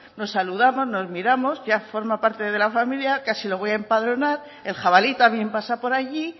nos saludamos nos miramos ya forma parte de la familia casi lo voy a empadronar el jabalí también pasa por allí